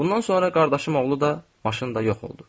Bundan sonra qardaşım oğlu da, maşın da yox oldu.